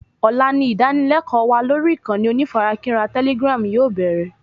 Ọ̀la ni ìdánilékòó wa lórí ìkànnì onífarakínra telegram yóò bẹ̀rẹ̀